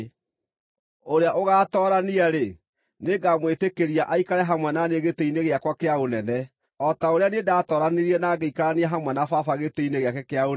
Ũrĩa ũgaatoorania-rĩ, nĩngamwĩtĩkĩria aikare hamwe na niĩ gĩtĩ-inĩ gĩakwa kĩa ũnene, o ta ũrĩa niĩ ndatooranirie na ngĩikaranĩra hamwe na Baba gĩtĩ-inĩ gĩake kĩa ũnene.